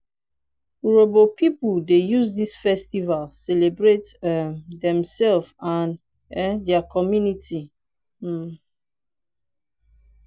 urhobo pipu dey use dis festival celebrate um demsef and um their community. um